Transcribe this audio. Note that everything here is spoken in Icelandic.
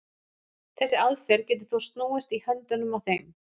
Þessi aðferð getur þó snúist í höndunum á þeim.